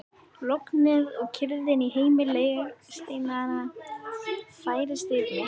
Lognið og kyrrðin í heimi legsteinanna færist yfir mig.